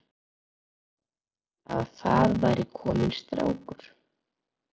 Að það væri kominn strákur.